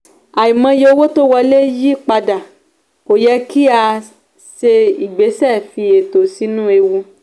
"àìmọye owó tó wọlé yí padà kò yẹ kí a ṣe ìgbésẹ̀ fi ètò sínú ewu"